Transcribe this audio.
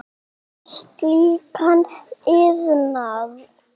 um slíkan iðnað.